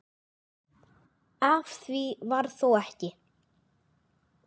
Af því varð þó ekki.